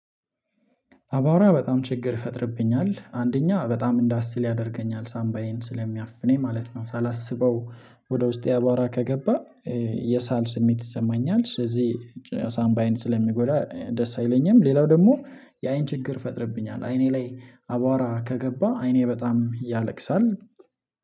አቧራ በጣም ችግር ይፈጥርብኛል፤ አንደኛ በጣም እንደ አስል ያደርገኛል ሳምባዬን ስለሚያፍነኝ ማለት ነው። ሳላስበው ወደ ውስጤ አቧራ ከገባ የሳል ስሜት ይሰማኛል ስለዚህ ሳምባየን ስለሚጎዳ ደስ አይለኝም፤ ሌላው ደግሞ የአይን ችግር ፈጥርብኛል አይኔ ላይ አቧራ ከገባ አይኔ በጣም ያለቅሳል፤